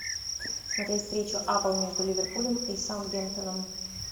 смотреть встречу апл между ливерпулем и саутгемптоном